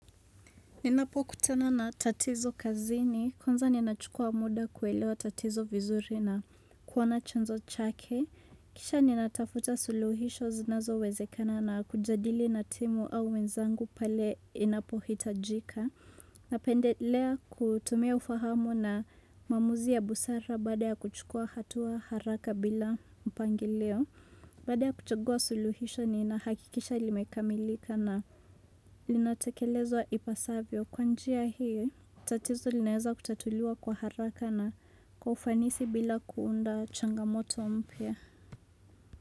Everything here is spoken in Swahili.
Ninapo kutana na tatizo kazini, kwanza ninachukua muda kuelewa tatizo vizuri na kuona chanzo chake. Kisha nina tafuta suluhisho zinazo wezekana na kujadili na timu au wenzangu pale inapo hitajika. Napendelea kutumia ufahamu na mamuzi ya busara badala ya kuchukua hatua haraka bila mpangilio. Baada ya kuchagua suluhisho nina hakikisha limekamilika na linatekelezwa ipasavyo. Kwanjia hii, tatizo linaeza kutatuliwa kwa haraka na kwa ufanisi bila kuunda changamoto mpya.